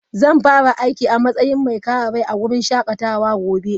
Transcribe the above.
Zan fara aiki a matsayin mai kare rai a wurin shakatawa gobe.